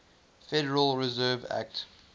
federal reserve act